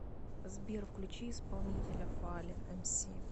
сбер включи исполнителя фаллен эмси